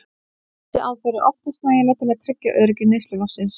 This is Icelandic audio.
Þessi aðferð er oftast nægileg til að tryggja öryggi neysluvatnsins.